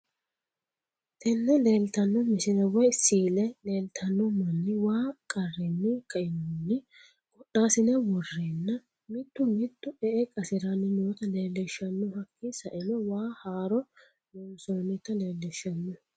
Tenne lelittano misile woy sile lelittanoo maani waa qaarrinni ka'inoohunni qoodhasine worrnna mittu mittu e'e qasirranni notta lelishshanoo hakki sa'enoo waa harro lonssonnitta lelishshano